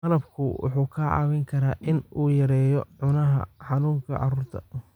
Malabku wuxuu kaa caawin karaa in uu yareeyo cunaha xanuunka carruurta.